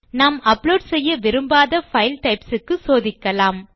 நாம் அப்லோட் செய்ய விரும்பாத பைல் டைப்ஸ் க்கு சோதிக்கலாம்